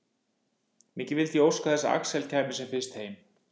Mikið vildi ég óska þess að Axel kæmi sem fyrst heim.